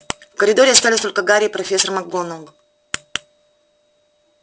в коридоре остались только гарри и профессор макгонагалл